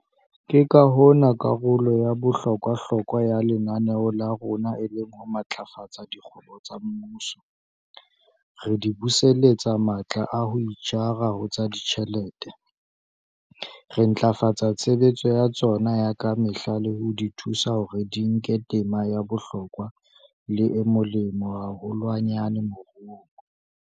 Ke ka hona karolo ya bohlokwa-hlokwa ya lenaneo la rona e leng ho matlafatsa dikgwebo tsa mmuso, re di buseletsa matla a ho itjara ho tsa ditjhelete, re ntlafatsa tshebetso ya tsona ya ka mehla le ho di thusa hore di nke tema ya bohlokwa le e molemo haholwanyane moruong.